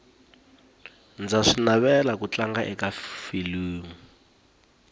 ndza swi navela ku tlanga aka filimu